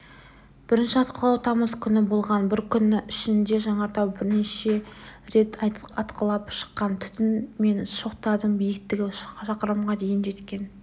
бірінші атқылау тамыз күні болған бір күн ішінде жанартау бірнеше рет атқылап шыққан түтін мен шоқтардың биіктігі шақырымға дейін жеткен